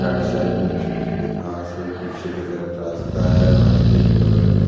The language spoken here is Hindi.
साइड साइड में छोटे-छोटे घांस है पीछे की तरफ रास्त है रास्ता के बगल में--